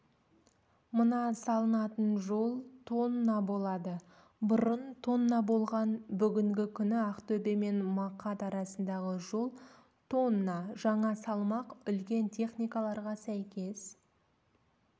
мына салынатын жол тонна болады бұрын тонна болған бүгінгі күні ақтөбе мен мақат арасындағы жол тонна жаңа салмақ үлкен техникаларға сәйкес